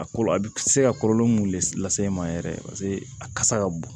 A kɔlɔlɔ a bɛ se ka kɔlɔlɔ mun le lase e ma yɛrɛ paseke a kasa ka bon